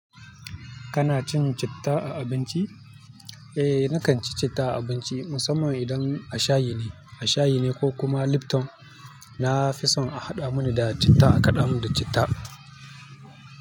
Kana cin citta a abinci? Eh, nakan ci citta a abinci musamman idan a shayi ne, a shayi ne ko kuma lipton. Na fi son a haɗa mun da citta a kaɗa mun da citta.